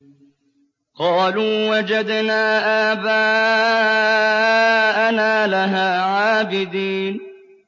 قَالُوا وَجَدْنَا آبَاءَنَا لَهَا عَابِدِينَ